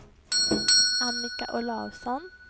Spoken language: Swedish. Annika Olausson